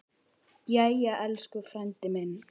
Jæja, elsku frændi minn.